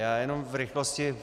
Já jenom v rychlosti.